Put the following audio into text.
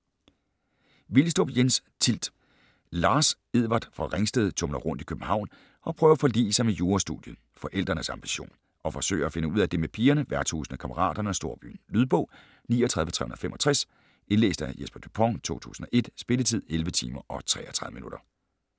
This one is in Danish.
Vilstrup, Jens: Tilt Lars Edward fra Ringsted tumler rundt i København og prøver at forlige sig med jurastudiet (forældrenes ambition), og forsøger at finde ud af det med pigerne, værtshusene, kammeraterne og storbyen. Lydbog 39365 Indlæst af Jesper Dupont, 2001. Spilletid: 11 timer, 33 minutter.